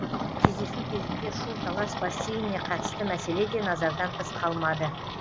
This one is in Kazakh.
кездесу кезінде шу талас бассейніне қатысты мәселе де назардан тыс қалмады